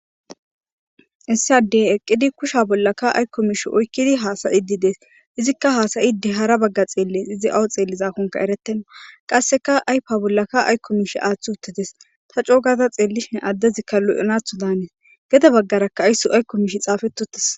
Issi adey eqidi kusha ayiko mishe ooyikidi izika hasayish hara bagara xeles awu xelizakoka eretena qaska ayipa bollaka ayiko mishe athi utides xeelishin adezi lo'anatho danes gede bagaraka xapeti utis